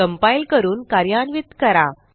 compile करून कार्यान्वित करा